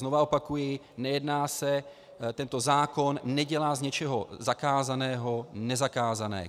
Znova opakuji - nejedná se, tento zákon nedělá z něčeho zakázaného nezakázané.